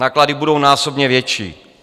Náklady budou násobně větší.